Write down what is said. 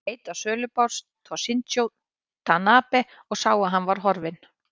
Hann leit á sölubás Toshizo Tanabe og sá að hann var horfinn.